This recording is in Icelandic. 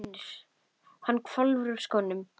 UNNUR: Hann hvolfir úr skónum.